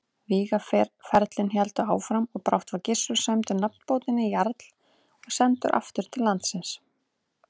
Vígaferlin héldu áfram og brátt var Gissur sæmdur nafnbótinni jarl og sendur aftur til landsins.